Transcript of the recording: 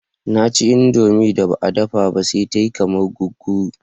Na ci indomie da ba a dafa ba sai ta yi kamar guguru